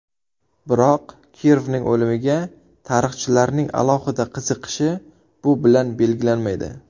Biroq Kirovning o‘limiga tarixchilarning alohida qiziqishi bu bilan belgilanmaydi.